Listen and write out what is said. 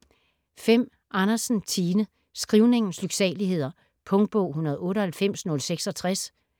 Andersen, Tine: Skrivningens lyksaligheder Punktbog 198066